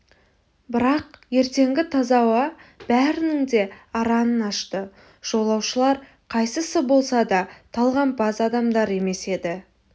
бірақ ертеңгі таза ауа бәрінің де аранын ашты жолаушылар қайсысы болса да талғампаз адамдар емес еді